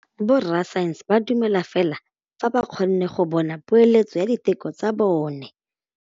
Borra saense ba dumela fela fa ba kgonne go bona poeletsô ya diteko tsa bone.